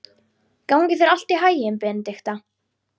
Gangi þér allt í haginn, Benidikta.